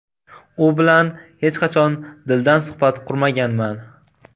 U bilan hech qachon dildan suhbat qurmaganman.